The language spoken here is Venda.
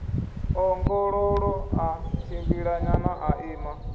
ḓongololo ḽa tshimbilanyana ḽa ima